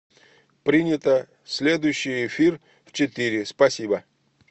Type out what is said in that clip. принято следующий эфир в четыре спасибо